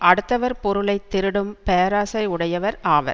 அடுத்தவர் பொருளை திருடும் பேராசை உடையவர் ஆவர்